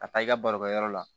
Ka taa i ka barokɛyɔrɔ la